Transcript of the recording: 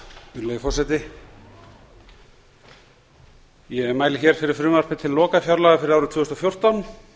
virðulegi forseti ég mæli hér fyrir frumvarpi til lokafjárlaga fyrir árið tvö þúsund og fjórtán